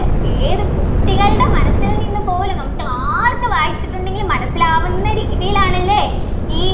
ഏത് കുട്ടികളുടെ മനസ്സിൽ നിന്നു പോലും നമുക്ക് ആർക്കു വായിച്ചിട്ടുണ്ടെങ്കിലും മനസിലാകുന്ന രീതിയിലാണല്ലേ ഈ